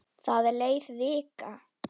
Það leið vika.